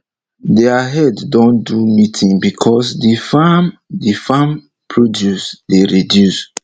deir head don do meeting becos de farm de farm produce dey reduce